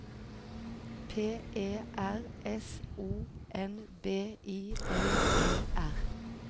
P E R S O N B I L E R